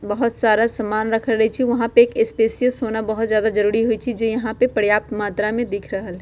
बहोत सारा समान रखल अच् छे वहां पे एक स्पेस्यस होना बहोत जादा जरूरी होय छे जे यहाँ पे पर्याप्त मात्रा में दिख रहल --